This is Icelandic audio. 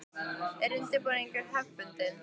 Er undirbúningur hefðbundin?